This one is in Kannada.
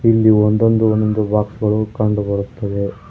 ಇಲ್ಲಿ ಒಂದೊಂದು ಒನೊಂದು ಬಾಕ್ಸ್ ಗಳು ಕಂಡುಬರುತ್ತದೆ.